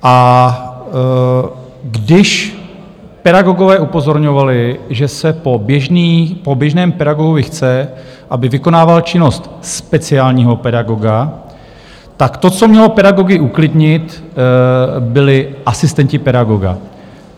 A když pedagogové upozorňovali, že se po běžném pedagogovi chce, aby vykonával činnost speciálního pedagoga, tak to, co mělo pedagogy uklidnit, byli asistenti pedagoga.